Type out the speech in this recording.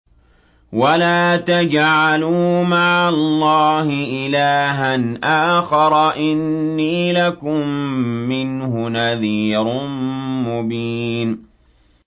وَلَا تَجْعَلُوا مَعَ اللَّهِ إِلَٰهًا آخَرَ ۖ إِنِّي لَكُم مِّنْهُ نَذِيرٌ مُّبِينٌ